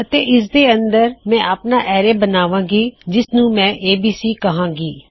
ਅਤੇ ਇਸ ਦੇ ਅੰਦਰ ਮੈਂ ਆਪਣਾ ਐਰੇ ਬਣਾਵਾਂਗੀ ਜਿਸਨੂੰ ਮੈਂ ਏਬੀਸੀ ਕਹਾਂਗੀ